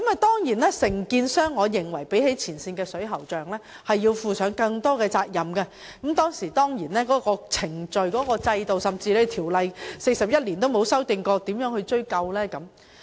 當然，比起前線水喉匠，我認為承建商須負上更大責任，但在有關程序、制度甚至條例於41年間從未修訂的情況下，當局可以如何追究？